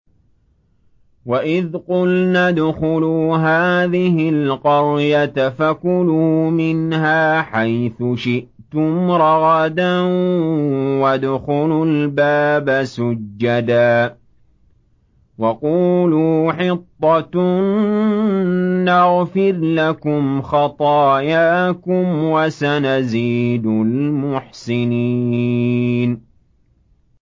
وَإِذْ قُلْنَا ادْخُلُوا هَٰذِهِ الْقَرْيَةَ فَكُلُوا مِنْهَا حَيْثُ شِئْتُمْ رَغَدًا وَادْخُلُوا الْبَابَ سُجَّدًا وَقُولُوا حِطَّةٌ نَّغْفِرْ لَكُمْ خَطَايَاكُمْ ۚ وَسَنَزِيدُ الْمُحْسِنِينَ